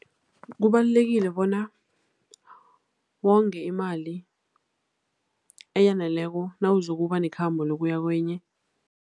Kubalulekile bona wonge imali eyaneleko nawuzokuba nekhambo lokuya kwenye.